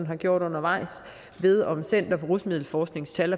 har gjort undervejs om center for rusmiddelforsknings tal